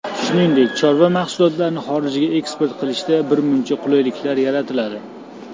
Shuningdek, chorva mahsulotlarini xorijga eksport qilishda birmuncha qulayliklar yaratiladi.